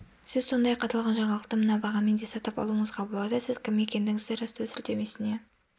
сіз сондай-ақ аталған жаңалықты мына бағамен де сатып алуыңызға болады сіз кім екендігіңізді растау сілтемесіне